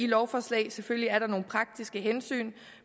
lovforslag selvfølgelig er der nogle praktiske hensyn